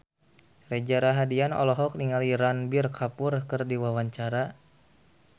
Reza Rahardian olohok ningali Ranbir Kapoor keur diwawancara